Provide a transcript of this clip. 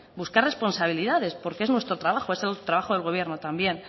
buscar responsabilidades porque es nuestro trabajo es el trabajo del gobierno también